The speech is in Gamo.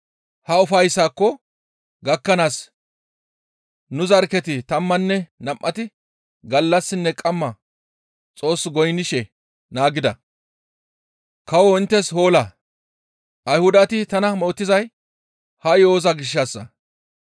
Ha ufayssaako gakkanaas nu zarkketi tammanne nam7ati gallassinne qamma Xoos goynnishe naagida; kawo inttes hoola! Ayhudati tana mootizay ha yo7oza gishshassa.